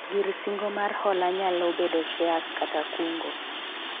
gir singo mar hola nyalo bedo shares kata kungo